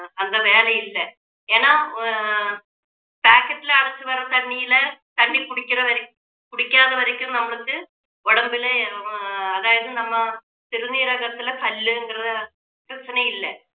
அஹ் அந்த வேலை இல்ல ஏன்னா ஆஹ் packet ல அடைச்சு வர்ற தண்ணியில தண்ணி குடிக்கிற வரை~ குடிக்காத வரைக்கும் நம்மளுக்கு உடம்புல அதாவது நம்ம சிறுநீரகத்துல கல்லுங்குற பிரச்சனை இல்லை